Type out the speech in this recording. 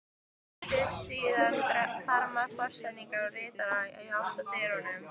Litlu síðar þramma forsetinn og ritararnir í átt að dyrunum.